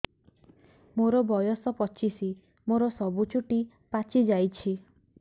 ମୋର ବୟସ ପଚିଶି ମୋର ସବୁ ଚୁଟି ପାଚି ଯାଇଛି